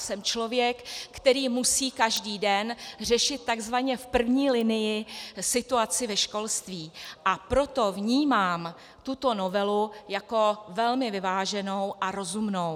Jsem člověk, který musí každý den řešit takzvaně v první linii situaci ve školství, a proto vnímám tuto novelu jako velmi vyváženou a rozumnou.